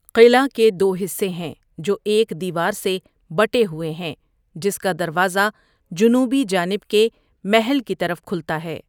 قلعہ کے دو حصے ہیں جو ایک دیوار سے بٹے ہوئے ہیں جس کا دروازہ جنوبی جانب کے محل کی طرف کھلتا ہے۔